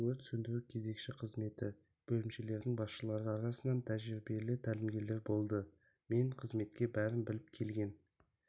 өрт сөндіру кезекші қызметі бөлімшелерінің басшылары арасынан тәжірибелі тәлімгерлер болды мен қызметке бәрін біліп келген